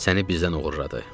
Səni bizdən oğurladı.